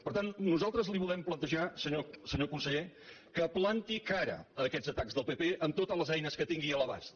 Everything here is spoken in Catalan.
per tant nosaltres li volem plantejar senyor conseller que planti cara a aquests atacs del pp amb totes les eines que tingui a l’abast